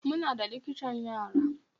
Muna da likitan yara.